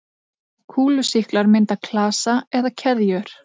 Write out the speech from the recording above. Kúlusýklar mynda klasa eða keðjur.